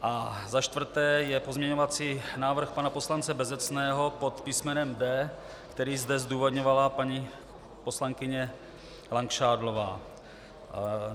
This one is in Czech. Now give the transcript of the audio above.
A za čtvrté je pozměňovací návrh pana poslance Bezecného pod písmenem D, který zde zdůvodňovala paní poslankyně Langšádlová.